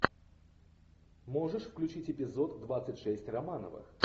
можешь включить эпизод двадцать шесть романовых